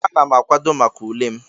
Ana m akwado maka ule m.